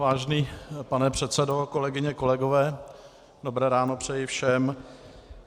Vážený pane předsedo, kolegyně, kolegové, dobré ráno přeji všem.